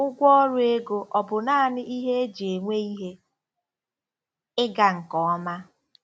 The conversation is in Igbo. Ụgwọ ọrụ ego ọ̀ bụ naanị ihe e ji enwe ihe ịga nke ọma?